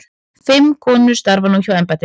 Fimm konur starfi nú hjá embættinu.